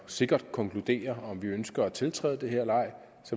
sikkert konkluderer at vi ønsker at tiltræde det her